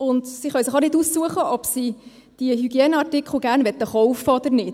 Sie können sich auch nicht aussuchen, ob sie diese Hygieneartikel gerne kaufen möchten oder nicht.